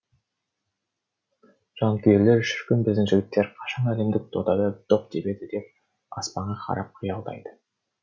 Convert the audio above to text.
жанкүйерлер шіркін біздің жігіттер қашан әлемдік додада доп тебеді деп аспанға қарап қиялдайды